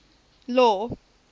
law